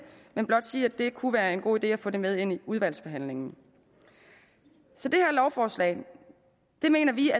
men blot sige at det kunne være en god idé at få det med ind i udvalgsbehandlingen så det her lovforslag mener vi